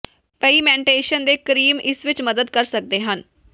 pigmentation ਦੇ cream ਇਸ ਵਿਚ ਮਦਦ ਕਰ ਸਕਦੇ ਹਨ